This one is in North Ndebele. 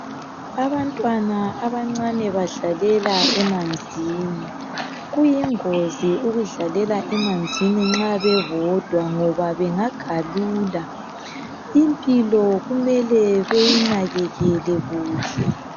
abantwana abancane badlalela emanzini kuyingozi ukudlalela emanzini nxa bebodwa ngoba bengagalula impilo kumele beyinakekele kuhle